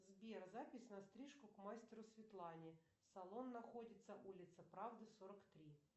сбер запись на стрижку к мастеру светлане салон находится улица правды сорок три